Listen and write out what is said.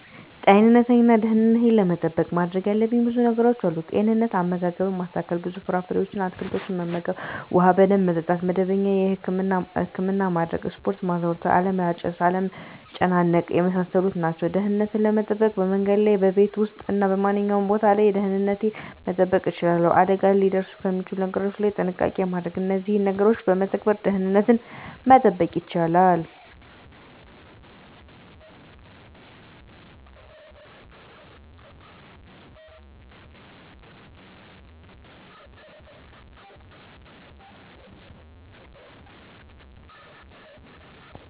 ጤንነቴን እና ደህንነቴን ለመጠበቅ ማድረግ ያለብኝ ብዙ ነገሮች አሉ፦ * ጤንነት፦ * አመጋገብን ማስተካከል፣ ብዙ ፍራፍሬዎችን እና አትክልቶችን መመገብ፣ ውሃ በደንብ መጠጣት፣ መደበኛ የህክምና ማድረግ፣ ስፖርት ማዘውተር አለማጨስ፣ አለመጨናነቅ የመሳሰሉት ናቸው። * ደህንነትን ለመጠበቅ፦ በመንገድ ላይ፣ በቤት ውስጥ እና በማንኛውም ቦታ ላይ ደህንነቴን መጠበቅ እችላለሁ። አደጋ ሊያደርሱ ከሚችሉ ነገሮች ላይ ጥንቃቄ ማድረግ እነዚህን ነገሮች በመተግበር ደህንነትን መጠበቅ ይቻላሉ።